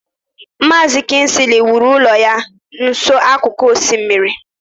Maazi kingsley wuru ụlọ ya nso n'akụkụ osimiri.